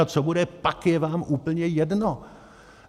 A co bude pak, je vám úplně jedno.